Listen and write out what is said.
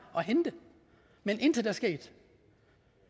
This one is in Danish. at hente men intet er sket